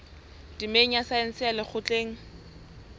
temeng ya saense ya lekgotleng